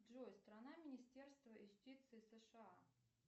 джой страна министерства юстиции сша